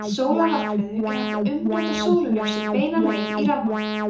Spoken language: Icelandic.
með sólarrafhlöðum er hægt að umbreyta sólarljósi beina leið í rafmagn